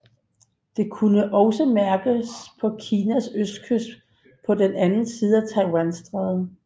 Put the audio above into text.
Det kunne også mærkes på Kinas østkyst på den anden side af Taiwanstrædet